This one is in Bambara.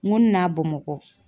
N ko n na Bamakɔ.